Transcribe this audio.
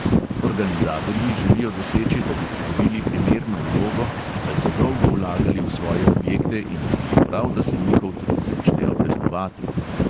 Organizatorji želijo doseči, da bi pridobili primerno vlogo, saj so dolgo vlagali v svoje objekte in bi bilo prav, da se njihov trud začne obrestovati.